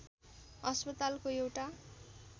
अस्पतालको एउटा